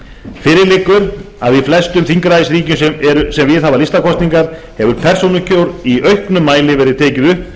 fyrir liggur að í flestum þingræðisríkjum sem viðhafa listakosningar hefur persónukjör í auknum mæli verið tekið upp